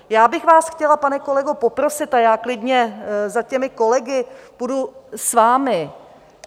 Já bych vás chtěla, pane kolego, poprosit, a já klidně za těmi kolegy půjdu s vámi.